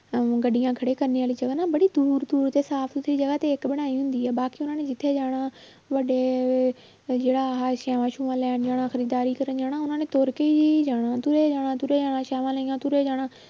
ਅਹ ਗੱਡੀਆਂ ਖੜੇ ਕਰਨੇ ਵਾਲੀ ਜਗ੍ਹਾ ਨਾ ਬੜੀ ਦੂਰ ਦੂਰ ਤੇ ਸਾਫ਼ ਸੁਥਰੀ ਜਗ੍ਹਾ ਦੇਖ ਕੇ ਬਣਾਈ ਹੁੰਦੀ ਆ ਬਾਅਦ 'ਚ ਉਹਨਾਂ ਨੇ ਜਿੱਥੇ ਜਾਣਾ ਵੱਡੇ ਜਿਹੜਾ ਆਹ ਲੈਣ ਜਾਣਾ ਖ਼ਰੀਦਦਾਰੀ ਕਰਨ ਜਾਣਾ ਉਹਨਾਂ ਨੇ ਤੁਰ ਕੇ ਹੀ ਜਾਣਾ ਤੁਰੇ ਜਾਣਾ ਤੁਰੇ ਜਾਣਾ ਤੁਰੇ ਜਾਣਾ